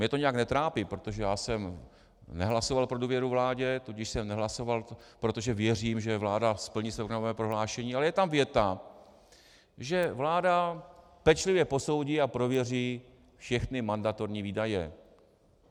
Mně to nijak netrápí, protože já jsem nehlasoval pro důvěru vládě, tudíž jsem nehlasoval, protože věřím, že vláda splní své programové prohlášení, ale je tam věta, že vláda pečlivě posoudí a prověří všechny mandatorní výdaje.